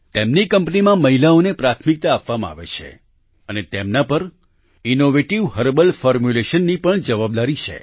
તેમની કંપનીમાં મહિલાઓને પ્રાથમિકતા આપવામાં આવે છે અને તેમના પર ઇનોવેટિવ હર્બલ ફોર્મુલેશન્સ ની પણ જવાબદારી છે